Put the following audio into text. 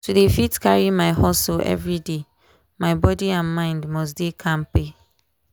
to dey fit carry my hustle everyday my body and mind must dey kampe.